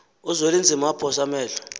uzwelinzima waphosa amehlo